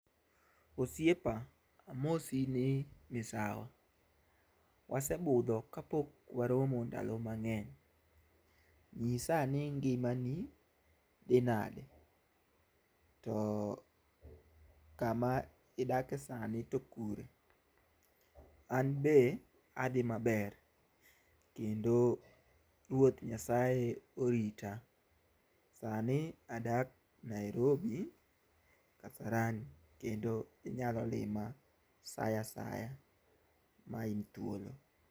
Osiepa amosi ni misawa. Wasebudho kapok waromo ndalo mang'eny. Nyisa ni ngimani dhi nade? To kama idake sani to kure? An be adhi maber kendo ruoth Nyasaye orita. Sani adak Nairobi Kasarani kendo inyalo lima sa asaya ma in thuolo.